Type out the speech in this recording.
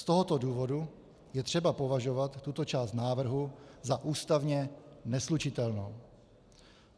Z tohoto důvodu je třeba považovat tuto část návrhu za ústavně neslučitelnou.